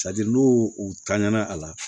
n'u u tanɲa na a la